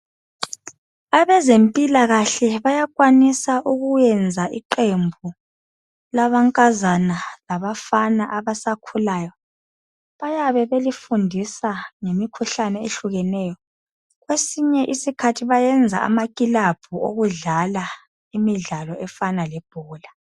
Abezempilakahle bayakwanisa ukuyenza iqembu lamankazana labafana abasakhulayo bayabe belifundisa ngemikhuhlane ehlukeneyo kwesinye isikhathi bayenza amakilabhu okudlala imidlalo efana lebhola.